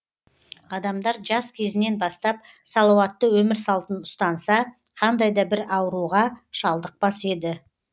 адамдар жас кезінен бастап салауатты өмір салтын ұстанса қандай да бір ауруға шалдықпас еді